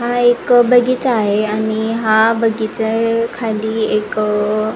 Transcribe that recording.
हा एक बगीचा आहे आणि हा बगीचा अ खाली एक अ--